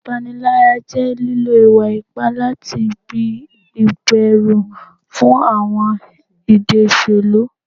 Ipanilaya jẹ lilo iwa-ipa lati gbin iberu fun awọn idi oselu